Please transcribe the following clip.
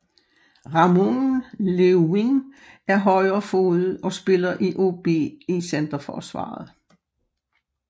Ramon Leeuwin er højrefodet og spiller i OB i centerforsvaret